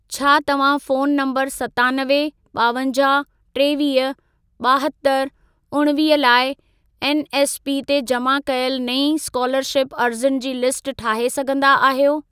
छा तव्हां phone number सतानवे, ॿावंजाहु, टेवीह, ॿाहतरि, उणिवीह लाइ एनएसपी ते जमा कयल नईं स्कोलरशिप अर्ज़ियुनि जी लिस्ट ठाहे सघंदा आहियो?